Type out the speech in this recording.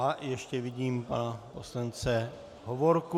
A ještě vidím pana poslance Hovorku.